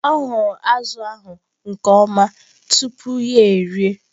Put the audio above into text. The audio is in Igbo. Ọ kpọrọ azụ̀ ahụ nke ọma tupu ya erie.